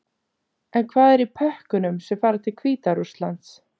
En hvað er í pökkunum sem fara til Hvíta-Rússlands?